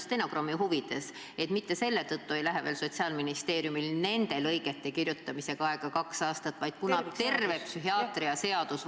Ütlen stenogrammi huvides, et mitte nende lõigete kirjutamiseks ei lähe Sotsiaalministeeriumil aega kaks aastat, vaid ette võetakse terve psühhiaatrilise abi seadus.